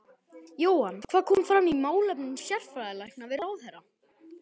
Jóhann, hvað kom fram í málefnum sérfræðilækna við ráðherra?